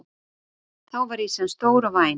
Þá var ýsan stór og væn.